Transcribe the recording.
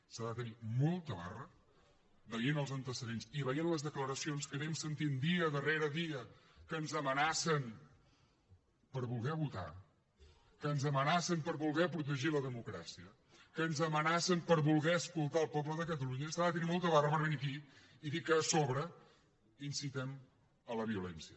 s’ha de tenir molta barra veient els antecedents i veient les declaracions que anem sentint dia darrere dia que ens amenacen per voler votar que ens amenacen per voler protegir la democràcia que ens amenacen per voler escoltar el poble de catalunya s’ha de tenir molta barra per venir aquí i dir que a sobre incitem a la violència